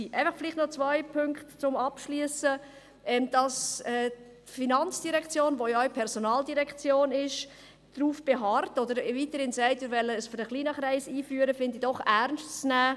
Zum Schluss noch zwei Punkte: Dass die FIN, die ja auch die Personaldirektion ist, darauf beharrt, oder weiterhin sagt: «Wir wollen es für einen kleinen Kreis einführen», ist doch ernst zu nehmen.